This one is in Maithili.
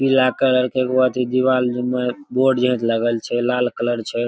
पीला कलर के एगो एथी दीवाल में बोर्ड जे लगल छै लाल कलर छै।